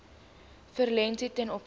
verliese ten opsigte